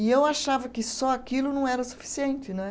E eu achava que só aquilo não era suficiente né.